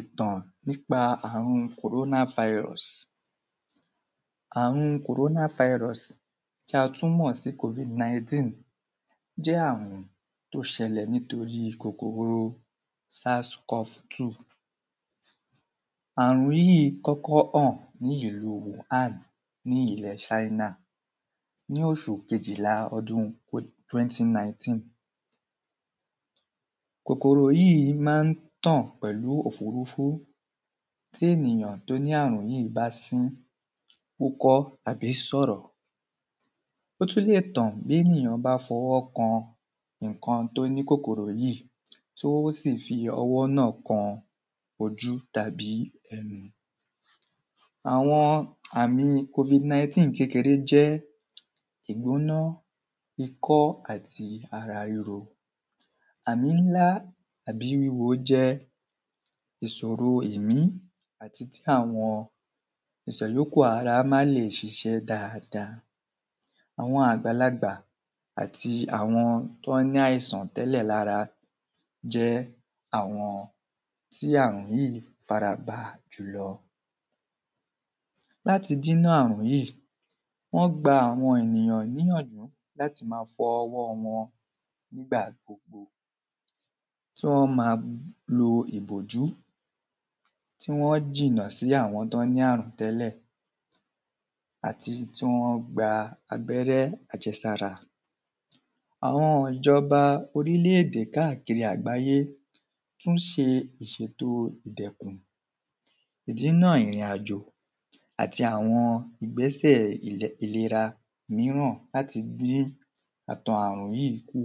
Ìtàn nípa àrun kòróná virus. Àrun kòróná virus tí a tún mọ̀ sí kofid nineteen jẹ́ àrùn tó ṣẹlẹ̀ nítorí kòkòro sarscos two. Àrùn yìí kọ́kọ́ hàn ní ìlú wúhàn ní ilẹ̀ chínà ní oṣù kejìlá ọdún twenty nineteen. Kòkòrò yìí má ń tàn pẹ̀lú òfurufú tí ènìyàn tí ó ní àrùn yìí bá sín wúkọ́ tàbí sọ̀rọ̀. Ó tún lè tàn bénìyàn bá fọwọ́ kan nǹkan ẹni tó ní kòkòrò yìí tó sì fi ọwọ́ náà kan ojú tàbí ẹnu. Àwọn àmì kofid nineteen kékeré jẹ́ ìgbòná ikọ́ àti ara ríro àmì ńlá àbí wíwo jẹ́ ìsòro èmí àti tí àwọn ìsẹ̀yókù ara má le ṣiṣẹ́ dáada. Àwọn àgbàlagbà àti àwọn tán ní àìsàn tẹ́lẹ̀ lára jẹ́ àwọn tí àrùn yìí fara bà jùlọ. Láti dínà àrùn yìí wọ́n gba àwọn èyàn níyànjú láti má fọ ọwọ́ wọ nígbà gbogbo kí wọ́n má lo ìbòjú kí wọ́n jìnà sí àwọn tí wọ́n ní àrùn tẹ́lẹ̀ àti kí wọ́n gba abẹ́rẹ́ àjẹsára. Àwọn ìjọba oríle èdè káàkiri àgbáyé tún ṣe ìṣèto ìdẹ̀kùn dínà ìrìn àjò àti àwọn ìgbésè ìlera ìmíràn láti dín àtan àrùn yíì kù.